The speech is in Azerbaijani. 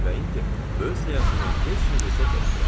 Və indi öz həyatımı heç nə hesab eləmirəm.